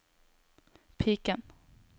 piken